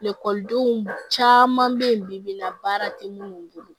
denw caman bɛ yen bibi in na baara tɛ minnu bolo